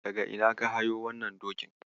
Daga ina ka hayo wannan dokin?